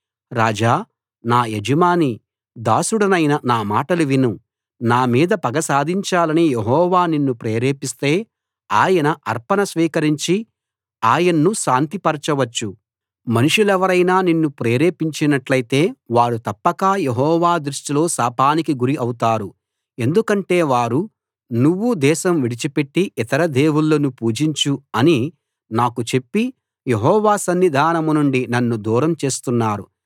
రాజా నా యజమానీ దాసుడనైన నా మాటలు విను నా మీద పగ సాధించాలని యెహోవా నిన్ను ప్రేరేపిస్తే ఆయన అర్పణ స్వీకరించి ఆయన్ను శాంతిపరచవచ్చు మనుషులెవరైనా నిన్ను ప్రేరేపించినట్టైతే వారు తప్పక యెహోవా దృష్టిలో శాపానికి గురి అవుతారు ఎందుకంటే వారు నువ్వు దేశం విడిచిపెట్టి ఇతర దేవుళ్ళను పూజించు అని నాకు చెప్పి యెహోవా సన్నిధానం నుండి నన్ను దూరం చేస్తున్నారు